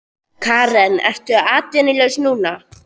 Karen: Ertu atvinnulaus núna?